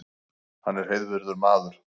Hann er heiðvirður maður